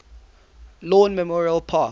lawn memorial park